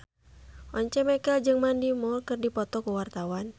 Once Mekel jeung Mandy Moore keur dipoto ku wartawan